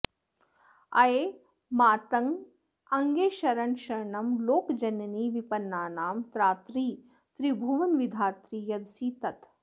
अये मातर्गऽङ्गेऽशरणशरणं लोकजननी विपन्नानां त्रात्री त्रिभुवनविधात्री यदसि तत्